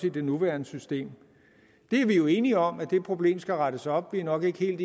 i det nuværende system vi er jo enige om at det problem skal rettes op vi er nok ikke